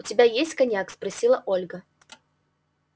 у тебя есть коньяк спросила ольга